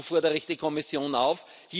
Dazu fordere ich die Kommission auf.